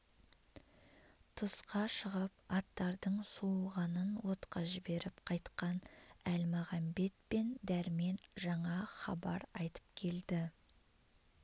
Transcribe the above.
тысқа шығып аттардың суығанын отқа жіберіп қайтқан әлмағамбет пен дәрмен жаңа хабар айтып келді